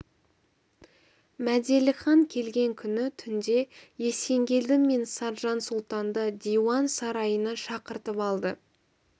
мәделіхан келген күні түнде есенгелді мен саржан сұлтанды диуан сарайына шақыртып алды